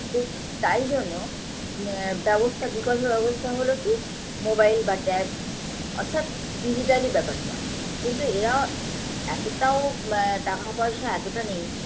তো তাই জন্য ম ব্যবস্থা বিকল্প ব্যবস্থা হলো কী mobile বা tab অর্থাৎ digital -ই ব্যাপারটা কিন্তু এরা এতটাও মা টাকাপয়সা এতোটা নেই